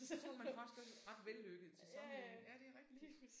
Så står man faktisk også ret vellykket til sammenligning ja det er rigtigt